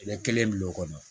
I bɛ kelen bil'o kɔnɔ